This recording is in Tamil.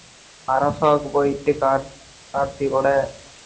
அரக்கு போய்ட்டு கார் கார்த்தி கூட